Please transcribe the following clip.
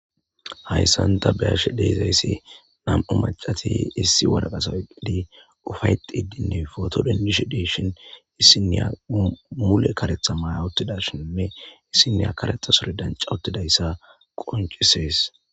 hayssanta beashe deizayssi nam7u macati issi waraqasa eqqidi ufayxidinne fotodenishe deshin issinniya mule karetha maya ottidashinne issineya karetha sori danca ottidayssa qoncisees